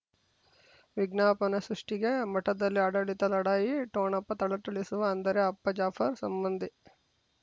ವಿಜ್ಞಾಪನೆ ಸೃಷ್ಟಿಗೆ ಮಠದಲ್ಲಿ ಆಡಳಿತ ಲಢಾಯಿ ಠೊಣಪ ಥಳಥಳಿಸುವ ಅಂದರೆ ಅಪ್ಪ ಜಾಫರ್ ಸಂಬಂಧಿ